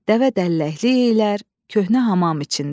Dəvə dəlləklik eləyər köhnə hamam içində.